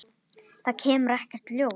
Það kom ekkert ljós.